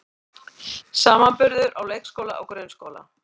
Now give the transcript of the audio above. Samanburður á leikskóla og grunnskóla